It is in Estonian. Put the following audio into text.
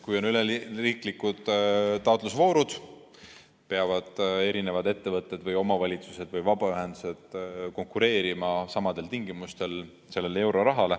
Kui on üleriiklikud taotlusvoorud, peavad ettevõtted, omavalitsused või vabaühendused sellele eurorahale konkureerima samadel tingimustel.